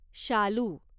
शालू